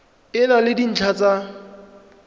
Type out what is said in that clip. e na le dintlha tsa